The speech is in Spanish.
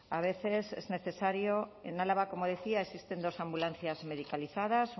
a veces es necesario en álava como decía existen dos ambulancias medicalizadas